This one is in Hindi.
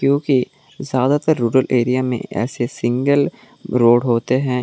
क्योंकि ज्यादातर रूलर एरिया में ऐसे सिंगल रोड होते है।